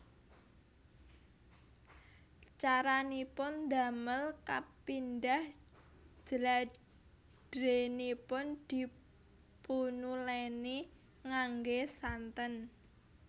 Caranipun ndamel kapindhah jladrènipun dipunulèni nganggé santen